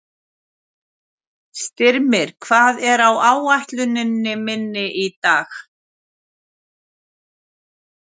Styrmir, hvað er á áætluninni minni í dag?